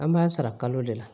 An b'a sara kalo de la